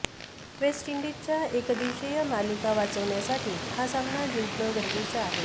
waste इंडीजसाठी एकदिवसीय मालिका वाचवण्यासाठी हा सामना जिंकणं गरजेचं आहे